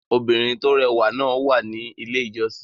Obìnrin tó rẹwà náà wà ní Ilé-ìjọsìn.